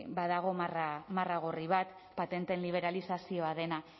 badago marra gorri bat patenteen liberalizazioa dena